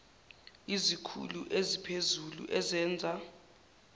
izikhulu eziphezulu ezenza